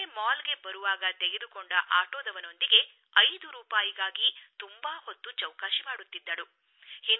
ಆದರೆ ಮಾಲ್ಗೆ ಬರುವಾಗ ತೆಗೆದುಕೊಂಡ ಆಟೋದವನೊಂದಿಗೆ 5 ರೂಪಾಯಿಗಾಗಿ ತುಂಬಾ ಹೊತ್ತು ಚೌಕಾಶಿ ಮಾಡುತ್ತಿದ್ದಳು